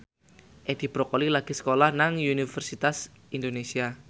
Edi Brokoli lagi sekolah nang Universitas Indonesia